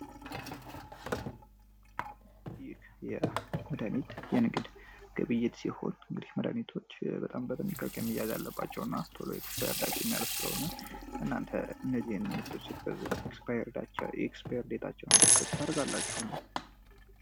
ይህ የመዳኒት የንግድ ግብይት ሲሆን እንግዲህ መድሀኒቶች በጣም በጥንቃቄ መያዝ አለባቸው እና ናነ ቶሎ ኤክስፓየርዳቸው የሚያልፍ ስለሆነ እናንተ እነዚህን መድሀኒቶች ስትገዙ ኤክስፓየርድ ዴታቸውን ቸክ ታደርጋላችሁን?